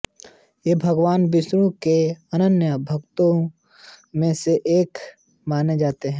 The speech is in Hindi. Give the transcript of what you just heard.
वे भगवान विष्णु के अनन्य भक्तों में से एक माने जाते है